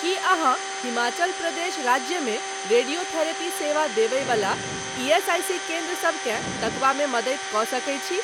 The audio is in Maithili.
की अहाँ हिमाचल प्रदेश राज्यमे रेडियोथेरेपी सेवा देबय बला ईएसआईसी केन्द्र सबकेँ तकबामे मदति कऽ सकैत छी?